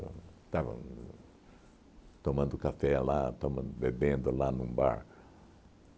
Estavam tomando café lá, toman bebendo lá num bar.